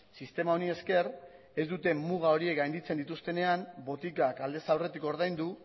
sistema honi esker ez dute muga hori gainditzen dituztenean botikak aldez aurretik ordaindu